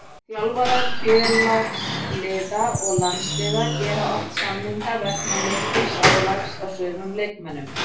Þjálfarar félagsliða og landsliða gera oft slíka samninga vegna mikils álags á sumum leikmönnum.